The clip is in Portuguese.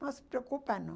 Não se preocupa, não.